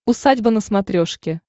усадьба на смотрешке